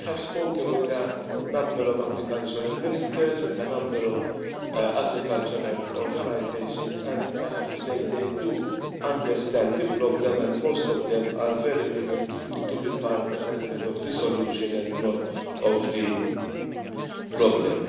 I have spoken with a number of agriculture ministers, with a number of agricultural organisations, and I have to say they do understand the problem and most of them are very willing to be part of the solution and not of the problem.